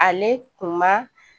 Ale kun man